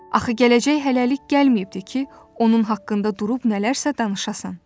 Axı gələcək hələlik gəlməyibdir ki, onun haqqında durub nələrsə danışasan.